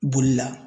Bolila